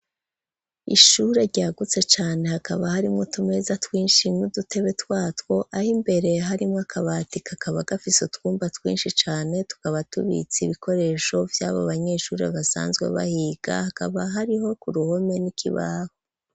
Ishure ryagutse cane, hakaba harimwo utumeza twinshi n'udutebe twatwo, aho imbere harimwo akabati kakaba gafise utwumba twinshi cane, tukaba tubitse ibikoresho vy'abo banyeshure basanzwe bahiga, hakaba hariho ku ruhome n'ikibaho.